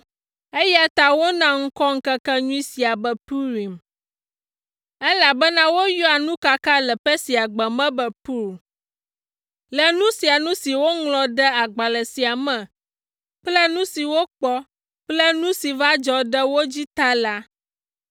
eya ta wona ŋkɔ ŋkekenyui sia be Purim, elabena woyɔa nukaka le Persiagbe me be pur. Le nu sia nu si woŋlɔ ɖe agbalẽ sia me kple nu si wokpɔ kple nu si va dzɔ ɖe wo dzi ta la,